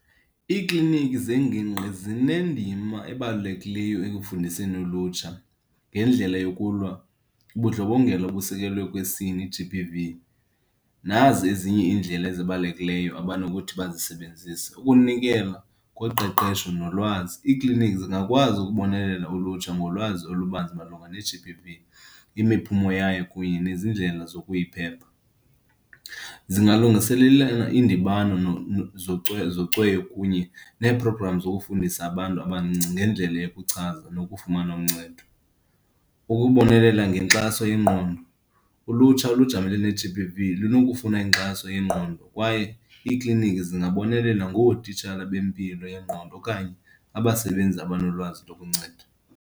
Iikliniki zengingqi zinendima ebalulekileyo ekufundiseni ulutsha ngendlela yokulwa ubundlobongela obusekelwe kwisini, i-G_B_V. Nazi ezinye iindlela ezibalulekileyo abanokuthi bazisebenzise, ukunikela koqeqesho nolwazi. Iiklinikhi zingakwazi ukubonelela ulutsha ngolwazi olubanzi malunga ne-G_B_V, imiphumo yayo kunye nezindlela zokuyiphepha. Zingalungiselelana iindibano zocweyo kunye nee-program zokufundisa abantu abancinci ngendlela yokuchaza nokufumana uncedo. Ukubonelela ngenkxaso yengqondo. Ulutsha olujamelene ne-G_B_V lunokufuna inkxaso yengqondo kwaye iikliniki zingabonelela ngootitshala bempilo yengqondo okanye abasebenzi abanolwazi lokunceda.